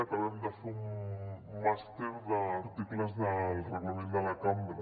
acabem de fer un màster d’articles del reglament de la cambra